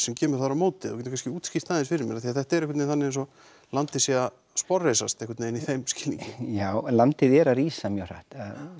sem kemur þar á móti ef þú gætir kannski útskýrt það aðeins fyrir mér af því að þetta er einhvern veginn þannig eins og landið sé að sporðreisast einhvern veginn í þeim skilningi já landið er að rísa mjög hratt